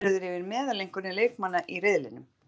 Farið verður yfir meðaleinkunnir leikmanna í riðlinum,